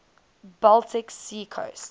baltic sea coast